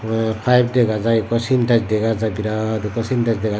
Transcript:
te payep dega jaai ekko sintek dega jaai birat ekko sintek dega jaai.